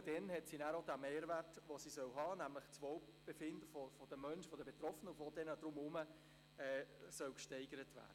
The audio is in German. Nur dann hat sie den Mehrwert, den sie haben soll, nämlich das Wohlbefinden von Betroffenen und den Menschen zu steigern.